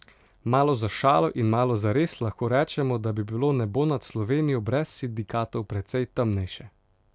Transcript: Malo za šalo in malo zares lahko rečemo, da bi bilo nebo nad Slovenijo brez sindikatov precej temnejše.